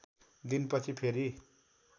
दिन पछि फेरी